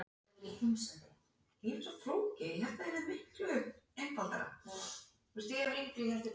Þar með var þessu landnámi lokið.